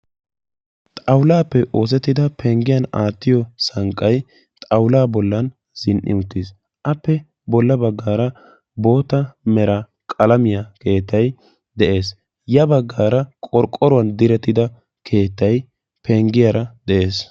Xawullappe oosettidda penggiyan aattiyo xawullay penggiyan zin'i uttiis. Appe ya bagan hara zin'i uttidaagetti de'osonna.